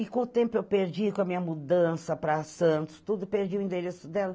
E com o tempo eu perdi, com a minha mudança para Santos, tudo, perdi o endereço dela.